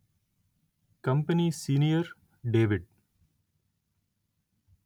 company senior David